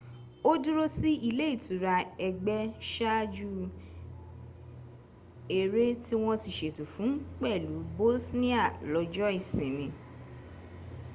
ó dúró sí ile itura ëgbẹ́ ṣáaju ẹrẹ́ tí wọ́n ti ṣètò fún pẹ̀lú bosnia lọ́jọ́ ìsinmi